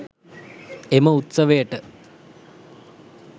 එම උත්සවයට